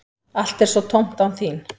Allt er svo tómt án þín.